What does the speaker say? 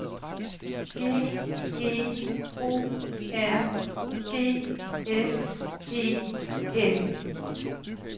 G E O R G S E N